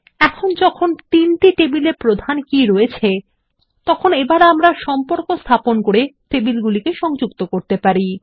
এখন যখন তিনটি টেবিলে প্রধান কী রয়েছে তখন আমরা সম্পর্ক স্থাপন করে টেবিল গুলিকে সংযুক্ত করতে পারি